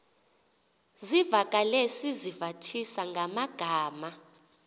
zivakale sizivathisa ngamagama